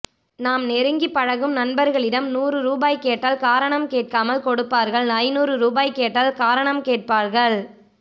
நாம் நெருங்கி பழகும் நண்பர்களிடம் நூறு ரூபாய் கேட்டல் காரணம் கேட்காமல் கொடுப்பார்கள் ஐநூறு ரூபாய் கேட்டல் காரணம் கேட்பார்கள்